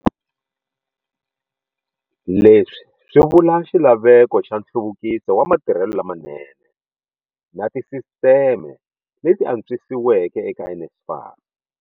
Leswi swi vula xilaveko xa nhluvukiso wa matirhelo lamanene na tisisiteme leti antswisiweke eka NSFAS.